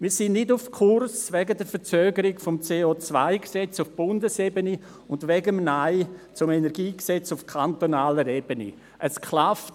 Wegen der Verzögerung des CO-Gesetzes auf Bundesebene und wegen des Neins auf kantonaler Ebene zum Kantonalen Energiegesetz (KEnG) sind wir nicht auf Kurs.